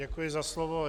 Děkuji za slovo.